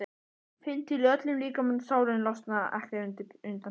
Finn til í öllum líkamanum, sálinni, losna ekki undan Pésa.